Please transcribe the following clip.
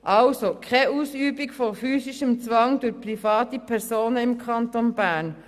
Also: Keine Ausübung von physischem Zwang durch private Personen im Kanton Bern.